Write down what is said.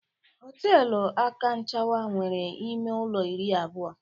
Họtelu Akanchawa nwere ime ụlọ iri abụọ.